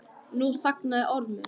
Nú þagnaði Ormur.